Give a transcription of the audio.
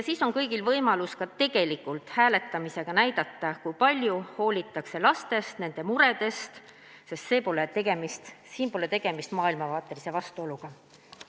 Siis on kõigil võimalus ka tegelikult hääletamisega näidata, kui palju hoolitakse lastest ja nende muredest, sest siin pole tegemist maailmavaatelise vastuoluga.